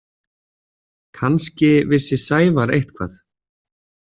Kannski vissi Sævar eitthvað.